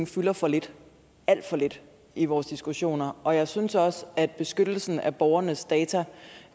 fylder for lidt alt for lidt i vores diskussioner og jeg synes også at beskyttelsen af borgernes data